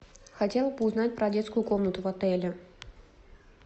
хотела бы узнать про детскую комнату в отеле